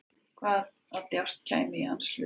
Hvaða djásn kæmi í hans hlut?